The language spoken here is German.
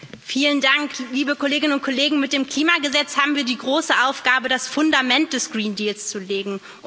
Frau Präsidentin, liebe Kolleginnen und Kollegen! Mit dem Klimagesetz haben wir die große Aufgabe, das Fundament des Green Deals zu legen.